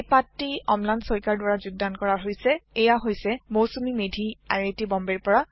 এই পাঠটি অম্লান শইকীয়াৰ দ্বাৰা যোগদান কৰা হৈছে মই Mousumi Medhi I I T বম্বেৰ পৰা বিদায় লৈছো